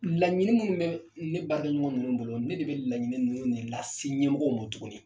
Laɲini min bɛ ne baarakɛ ɲɔgɔn ninnu bolo ne de bɛ laɲini ninnu ne lase ɲɛmɔgɔw mɔn tuguni.